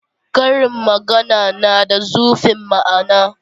Karin magana na da zurfin ma'ana.